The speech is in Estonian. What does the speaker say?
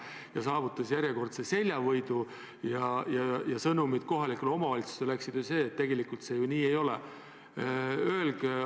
Ta saavutas järjekordse seljavõidu ja sõnumid kohalikele omavalitsustele läksid ju sellised, et tegelikult see nii ei ole.